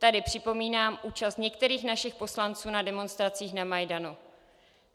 Tady připomínám účast některých našich poslanců na demonstracích na Majdanu.